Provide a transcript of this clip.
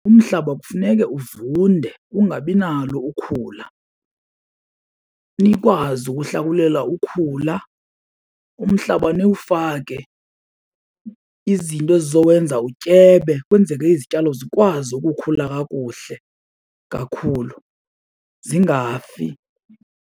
Umhlaba kufuneke uvunde ungabi nalo ukhula, nikwazi ukuhlakulela ukhula. Umhlaba niwufake izinto ezizowenza utyebe kwenzele izityalo zikwazi ukukhula kakuhle kakhulu zingafi.